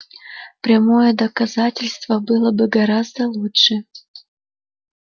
прямое доказательство было бы гораздо лучше